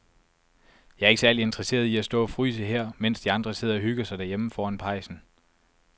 Jeg er ikke særlig interesseret i at stå og fryse her, mens de andre sidder og hygger sig derhjemme foran pejsen.